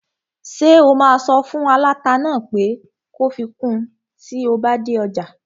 Ṣé o máa sọ fún aláta náà pé kó fi kun tí o bá dé ọjà?